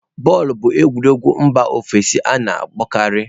Bọọlụ bụ egwuregwu mba ofesi a na-akpọkarị.